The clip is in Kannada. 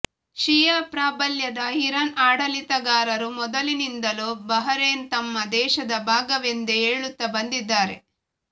ಷಿಯಾ ಪ್ರಾಬಲ್ಯದ ಇರಾನ್ ಆಡಳಿಗಾರರು ಮೊದಲಿನಿಂದಲೂ ಬಹರೇನ್ ತಮ್ಮ ದೇಶದ ಭಾಗವೆಂದೇ ಹೇಳುತ್ತ ಬಂದಿದ್ದಾರೆ